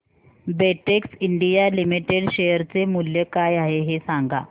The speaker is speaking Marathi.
बेटेक्स इंडिया लिमिटेड शेअर चे मूल्य काय आहे हे सांगा